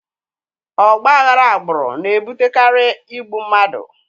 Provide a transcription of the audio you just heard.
Ọgba aghara agbụrụ na-ebutekarị igbu mmadụ